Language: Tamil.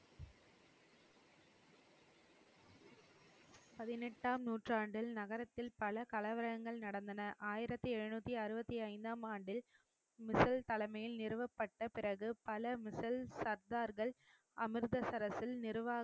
பதினெட்டாம் நூற்றாண்டில் நகரத்தில் பல கலவரங்கள் நடந்தன ஆயிரத்தி எழுநூத்தி அறுபத்தி ஐந்தாம் ஆண்டில் மிசில் தலைமையில் நிறுவப்பட்ட பிறகு பல மிசேல் சர்தார்கள் அமிர்தசரஸில்